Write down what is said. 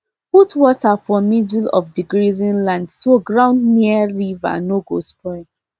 put water for middle of the grazing land so ground near river no go spoil